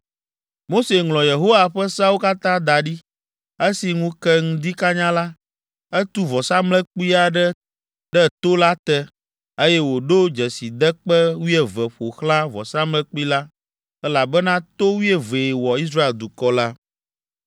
Mose ŋlɔ Yehowa ƒe seawo katã da ɖi. Esi ŋu ke ŋdi kanya la, etu vɔsamlekpui aɖe ɖe to la te, eye wòɖo dzesidekpe wuieve ƒo xlã vɔsamlekpui la, elabena to wuievee wɔ Israel dukɔ la.